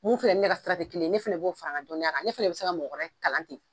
Mun fɛnɛ ni ne ka sira tɛ kelen ye, ne fɛnɛ b'o fara n ka dɔnniya kan, ne fɛnɛ be se ka mɔgɔ wɛrɛ kalan ten.